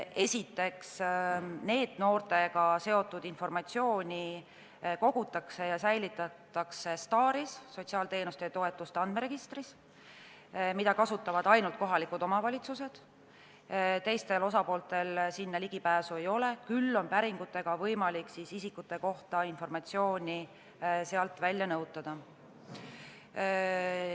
Esiteks, NEET-noortega seotud informatsiooni kogutakse ja säilitatakse STAR-is, sotsiaalteenuste ja -toetuste andmeregistris, mida kasutavad ainult kohalikud omavalitsused, teistel osapooltel sinna ligipääsu ei ole, küll on päringutega võimalik sealt isikute kohta informatsiooni nõutada.